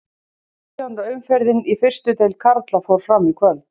Sautjánda umferðin í fyrstu deild karla fór fram í kvöld.